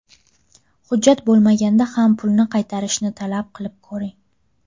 Hujjat bo‘lmaganda ham pulni qaytarishni talab qilib ko‘ring.